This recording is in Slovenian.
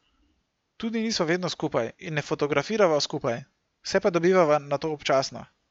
Tudi nisva vedno skupaj in ne fotografirava skupaj, se pa dobivava nato občasno.